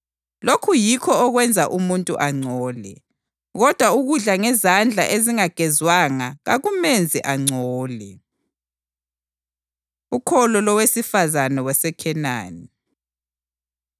Lokhu yikho okwenza umuntu angcole, kodwa ukudla ngezandla ezingagezwanga kakumenzi angcole.” Ukholo Lowesifazane WaseKhenani